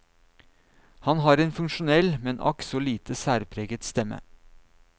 Han har en funksjonell, men akk så lite særpreget stemme.